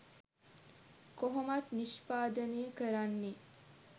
කොහොමත් නිෂ්පාදනය කරන්නෙ